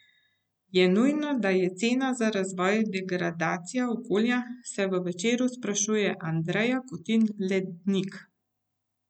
Je nujno, da je cena za razvoj degradacija okolja, se v Večeru sprašuje Andreja Kutin Lednik.